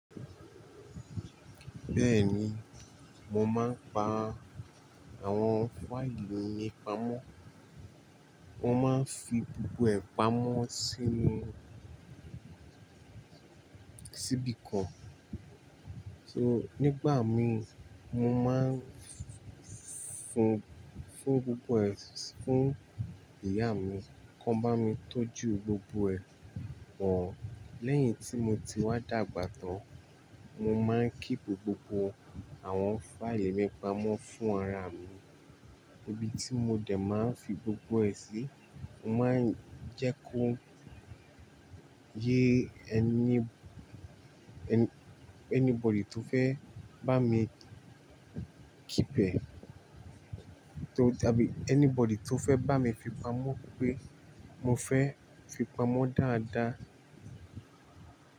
Bẹ́ẹ̀ni, mo máa ń pa àwọn fáìlì mi ìpàmọ́. Mo máa ń fi gbogbo ẹ̀ pàmọ́ sínú, sí’bì kan. So nígbà míì, mo máa ń fún, fún gbogbo ẹ̀ fún ìyá mi kán bá mi tọ́jú gbogbo ẹ̀ pọ̀. Lẹ́yìn tí mo ti wá dàgbà tán, mo máa ń kíìpù gbogbo àwọn fáìlì mi pamọ́ fún ara mi ibi tí mo dẹ̀ máa ń fi gbogbo ẹ̀ sí. Mo máa ń jẹ́ kó yé ẹní–anybody tó fẹ́ bá mi keep ẹ̀ tò tàbí anybody tó fẹ́ bá mi fi pamọ́ pé mo fẹ́ fi pamọ́ dáadáa.